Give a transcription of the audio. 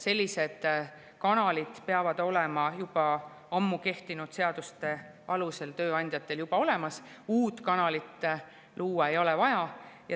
Sellised kanalid peavad tööandjatel olema juba ammu kehtinud seaduste alusel olemas, uut kanalit luua ei ole vaja.